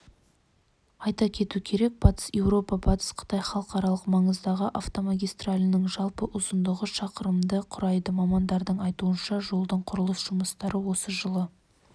айта кету керек батыс еуропа батыс қытай халықаралық маңыздағы автомагистральдің жалпы ұзындығы шақырымды құрайды мамандардың айтуынша жолдың құрылыс жұмыстары осы жылы